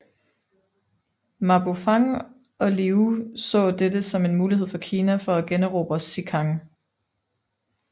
Ma Bufang og Liu så dette som en mulighed for Kina for at generobre Xikang